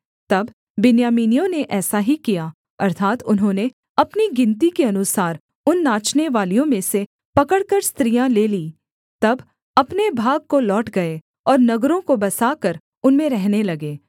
तब बिन्यामीनियों ने ऐसा ही किया अर्थात् उन्होंने अपनी गिनती के अनुसार उन नाचनेवालियों में से पकड़कर स्त्रियाँ ले लीं तब अपने भाग को लौट गए और नगरों को बसाकर उनमें रहने लगे